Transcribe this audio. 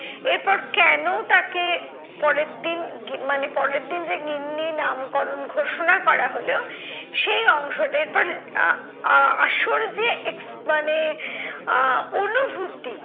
এরপর কেন তাকে পরেরদিন গি মানে পরের দিন যে গিন্নি নামকরণ ঘোষণা করা হলো সেই অংশটা। এরপর আহ আহ আসল যে মানে আহ অনুভূতি